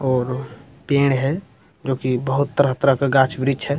और पेड़ है जो की बहुत तरह तरह का गाछ वृक्ष है।